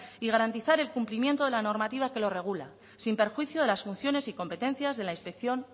y garantizar el cumplimiento de la normativa que lo regula sin perjuicio de las funciones y competencias de la inspección